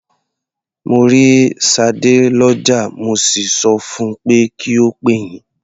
Mo rí Ṣadé lọ́jà, mo sì sọ fun pé kí ó pè yín.